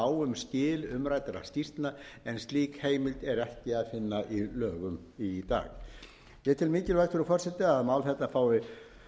á um skil umræddra skýrslna en slík heimild er ekki að finna í lögum í dag ég tel mikilvægt frú forseti að mál þetta fái